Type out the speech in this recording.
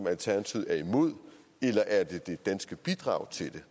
alternativet er imod eller er det det danske bidrag til den